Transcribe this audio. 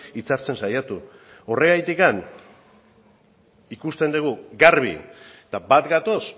hitzartzen saiatu horregatik ikusten dugu garbi eta bat gatoz